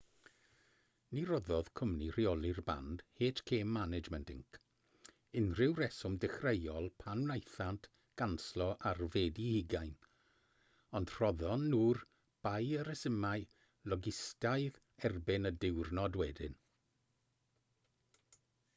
ni roddodd cwmni rheoli'r band hk management inc. unrhyw reswm dechreuol pan wnaethant ganslo ar fedi 20 ond rhoddon nhw'r bai ar resymau logistaidd erbyn y diwrnod wedyn